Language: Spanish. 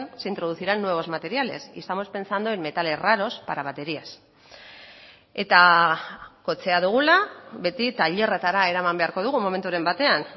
se introducirán nuevos materiales y estamos pensando en metales raros para baterías eta kotxea dugula beti tailerretara eraman beharko dugu momenturen batean